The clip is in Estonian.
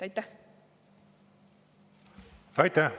Aitäh!